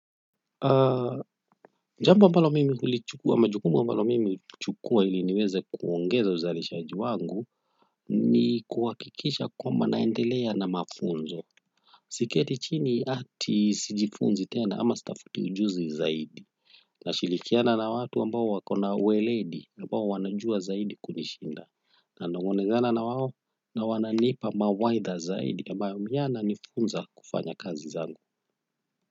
Jambo ambalo mimi hulichukua majukumu ambalo mimi hulichukua ili niweze kuongeza uzalishaji wangu ni kuwakikisha kwamba naendelea na mafunzo siketi chini ati sijifunzi tena ama sitafuti ujuzi zaidi. Nashirikiana na watu ambao wakona uweledi ambao wanajua zaidi kunishinda nanongonezana na wao na wananiipa mawaidha zaidi ambayo mimi najifunza kufanya kazi zangu.